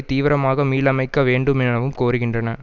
தீவிரமாக மீளமைக்க வேண்டுமெனவும் கோருகின்றன